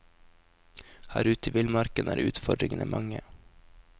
Her ute i villmarken er utfordringene mange.